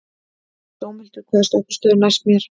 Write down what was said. Dómhildur, hvaða stoppistöð er næst mér?